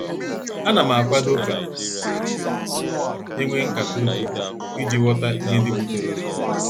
Anam akwado ka enwee nkata udo iji ghọta ihe ndị butere okwu.